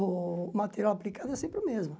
O material aplicado é sempre o mesmo.